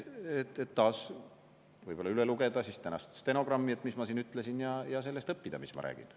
Ehk üle lugeda ka tänast stenogrammi, et mis ma siin ütlesin, ja sellest õppida, mis ma räägin.